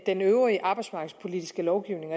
den øvrige arbejdsmarkedspolitiske lovgivning